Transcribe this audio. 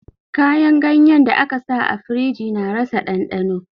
Kayan ganyen da aka sa a firiji na rasa ɗandano